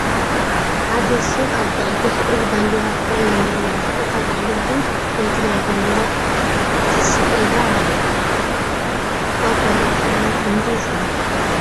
ሓደ ሰብ ኣብ በቅሊ ተሰቂሉ ባንዴራ ትግራይ የንበልብል ኣሎ እታ በቅሊ እውን ናይ ትግራይ ባንዴራ ትስኢላ ኣላ ። ካብ ካልአት ክልላት ብምንታይ ትፍለ ?